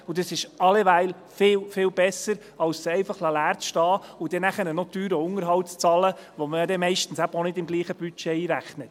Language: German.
Das ist alleweil viel besser, als sie einfach leer stehen zu lassen und dann noch teuren Unterhalt zu bezahlt, den man ja meist auch nicht im selben Budget einrechnet.